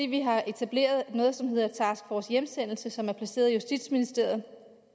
vi har etableret noget som hedder task force hjemsendelse som er placeret i justitsministeriet